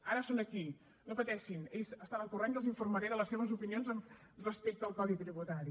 ara són aquí no pateixin ells n’estan al corrent i els informaré de les seves opinions respecte al codi tributari